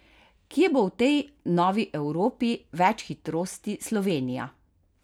Kje bo v tej novi Evropi več hitrosti Slovenija?